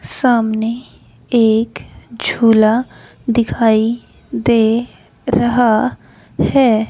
सामने एक झूला दिखाई दे रहा हैं।